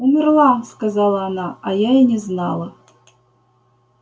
умерла сказала она а я и не знала